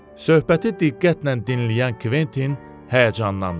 Söhbəti diqqətlə dinləyən Kventin həyəcanlandı.